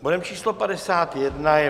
Bodem číslo 51 je